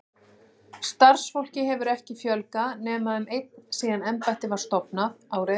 Starfsfólki hefur ekki fjölgað nema um einn síðan embættið var stofnað, árið